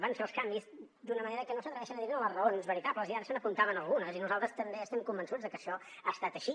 van fer els canvis d’una manera que no s’atreveixen a dir ne ni les raons veritables i ara se n’apuntaven algunes i nosaltres també estem convençuts de que això ha estat així